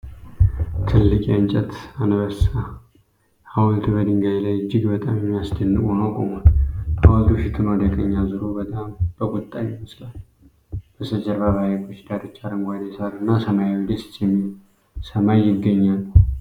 ትልቅ የእንጨት አንበሳ ሐውልት በድንጋይ ላይ እጅግ በጣም የሚያስደንቅ ሆኖ ቆሟል። ሐውልቱ ፊቱን ወደ ቀኝ አዙሮ በጣም በቁጣ ይመስላል። በስተጀርባ በሐይቁ ዳርቻ አረንጓዴ ሳር እና ሰማያዊ ደስ የሚል ሰማይ ይገኛሉ።